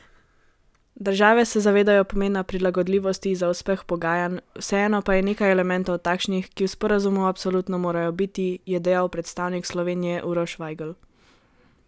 Države se zavedajo pomena prilagodljivosti za uspeh pogajanj, vseeno pa je nekaj elementov takšnih, ki v sporazumu absolutno morajo biti, je dejal predstavnik Slovenije Uroš Vajgl.